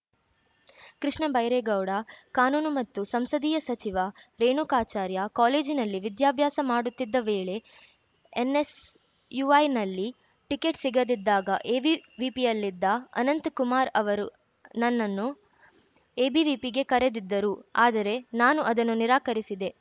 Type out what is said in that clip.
ಕೃಷ್ಣ ಬೈರೇಗೌಡ ಕಾನೂನು ಮತ್ತು ಸಂಸದೀಯ ಸಚಿವ ರೇಣುಕಾಚಾರ್ಯ ಕಾಲೇಜಿನಲ್ಲಿ ವಿದ್ಯಾಭ್ಯಾಸ ಮಾಡುತ್ತಿದ್ದ ವೇಳೆ ಎನ್‌ಎಸ್‌ಯುಐನಲ್ಲಿ ಟಿಕೆಟ್‌ ಸಿಗದಿದ್ದಾಗ ಎಬಿವಿಪಿಯಲ್ಲಿದ್ದ ಅನಂತಕುಮಾರ್‌ ಅವರು ನನ್ನನ್ನು ಎಬಿವಿಪಿಗೆ ಕರೆದಿದ್ದರು ಆದರೆ ನಾನು ಅದನ್ನು ನಿರಾಕರಿಸಿದೆ